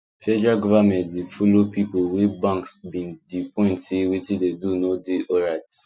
federal government dey follow people wey banks been the point say wetin dem do no dey alright